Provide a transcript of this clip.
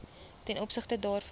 ten opsigte daarvan